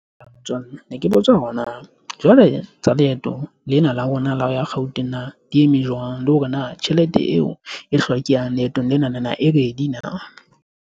Ne ke botsa hore na jwale tsa leeto lena la rona la ho ya Gauteng na di eme jwang le hore na tjhelete eo e hlokehang leetong lena na e ready na.